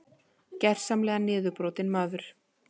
Gersamlega niðurbrotinn maður.